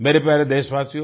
मेरे प्यारे देशवासियो